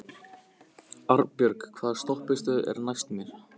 Arnbjörg, hvaða stoppistöð er næst mér?